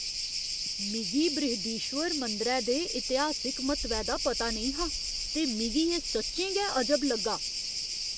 मिगी बृहदीश्वर मंदरै दे इतिहासिक म्हत्तवै दा पता नेईं हा ते मिगी एह् सच्चें गै अजब लग्गा।